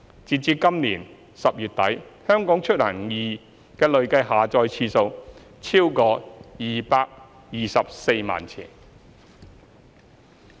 截至今年10月底，"香港出行易"的累計下載次數超過224萬次。